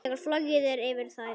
Þegar flogið er yfir þær.